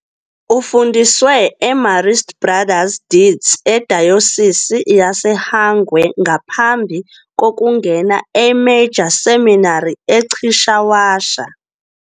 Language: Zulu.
Ufundiswe eMarist Brothers Dete eDayosisi yaseHwange ngaphambi kokungena eMajor Seminary eChishawasha.